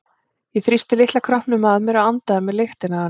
Ég þrýsti litla kroppnum að mér og andaði að mér lyktinni af henni.